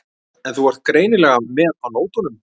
En þú ert greinilega með á nótunum.